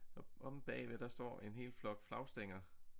Og omme bagved der står en hel flok flagstænger